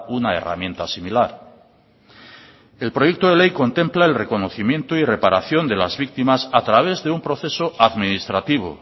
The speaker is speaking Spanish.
una herramienta similar el proyecto de ley contempla el reconocimiento y reparación de las víctimas a través de un proceso administrativo